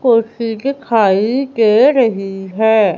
कुर्सी दिखाई दे रही है।